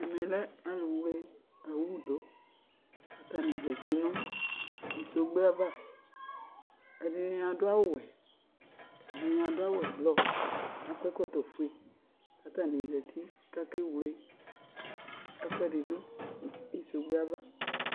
ɛmɛ lɛ alʋ wlɛ ɔwʋ dʋ kʋ atani zati nʋ sɔgbè aɣa, ɛdini adʋ awʋ wɛ kʋ ɛdini adʋ awʋ ɛblɔ kʋ akɔ ɛkɔtɔ ƒʋɛ kʋ atani zati kʋ akɛ wlɛ ɛkʋɛdi dʋ nʋ sɔgbèɛ aɣa